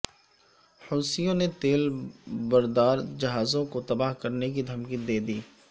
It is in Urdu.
حوثیوں نے تیل بردار جہازوں کو تباہ کرنے کی دھمکی دیدی